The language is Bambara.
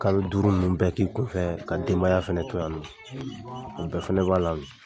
Kalo duuru mun bɛ k'i kun fɛ ka denbaya fɛnɛ to yan dun? O bɛɛ fɛnɛ b'a la.